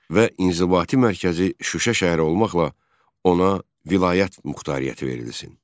Və inzibati mərkəzi Şuşa şəhəri olmaqla ona vilayət muxtariyyəti verilsin.